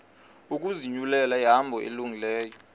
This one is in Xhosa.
ukuzinyulela ihambo elungileyo